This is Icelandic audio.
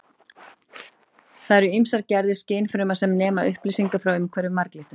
Þar eru ýmsar gerðir skynfruma sem nema upplýsingar frá umhverfi marglyttunnar.